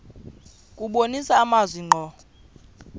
kubonisa amazwi ngqo